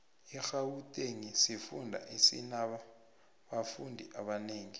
irhawutengi sifunda esinabanfu abanengi